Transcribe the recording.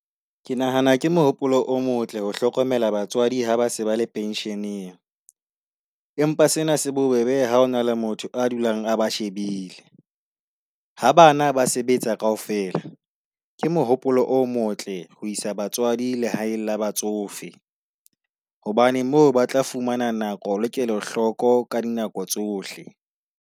Ke nahana ke mohopolo o motle ho hlokomela batseadi ha ba se ba le pension-eng. Empa sena se bobebe ha hona le motho a dulang a ba shebile. Ha bana ba se sebetsa kaofela ke mohopolo o motle ho isa batswadi lehaeng la batsofe. Hobane moo ba tla fumana nako, le kelo hloko ka dinako tsohle.